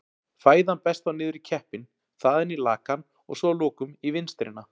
Fæðan berst þá niður í keppinn, þaðan í lakann og svo að lokum í vinstrina.